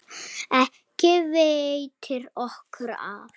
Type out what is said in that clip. Ekki veitir okkur af.